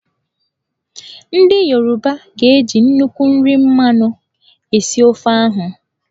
Ndị Yoruba ga-eji nnukwu nri mmanụ esi ofe ahụ